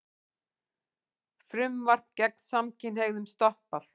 Frumvarp gegn samkynhneigðum stoppað